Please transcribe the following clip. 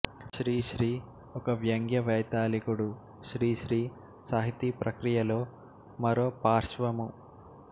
శ్రీశ్రీ ఒక వ్యంగ్య వైతాళికుడు శ్రీశ్రీ సాహితీ ప్రక్రియలో మరో పార్శ్వము